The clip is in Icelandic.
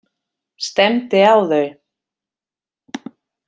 Stefndi á þau.